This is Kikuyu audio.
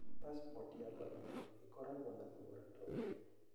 Pacipoti ya Vanuatu ĩkoragwo na thogora ta ũcio.